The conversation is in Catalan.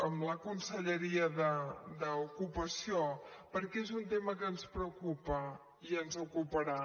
amb la conselleria d’ocupació perquè és un tema que ens preocupa i ens ocuparà